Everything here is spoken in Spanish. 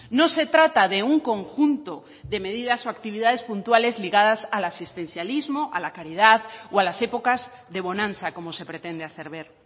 no se trata de un conjunto de medidas o actividades puntuales ligada a asistencialismo a la caridad o a las épocas de bonanza como se pretende hacer ver